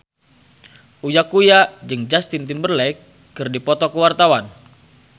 Uya Kuya jeung Justin Timberlake keur dipoto ku wartawan